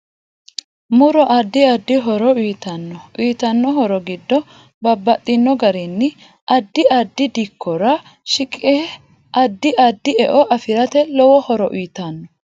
Muro addi addi horo uyiitanno uyiitanno horo giddo babbaxino garinni adddi addi dikkora ahiqinshe addi addi e'o afirate lowo horo uyiitanno